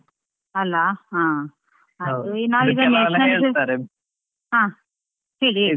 ಅಲಾ ಹಾ ಅದು ಹಾ ಹೇಳಿ ಹೇಳಿ.